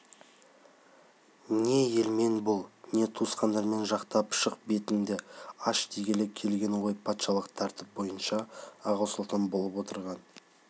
не елмен бол не туысқаныңды жақтап шық бетіңді аш дегелі келген ғой патшалық тәртіп бойынша аға сұлтан болып отырған